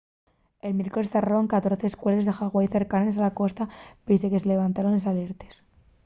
el miércoles zarraron 14 escueles de hawaii cercanes a la costa pesie a que se llevantaran les alertes